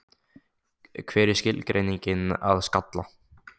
Hver er skilgreiningin að skalla?